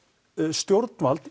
stjórnvald